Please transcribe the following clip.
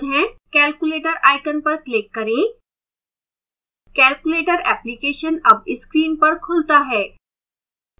calculator icon पर click करें calculator application अब स्क्रीन पर खुलता है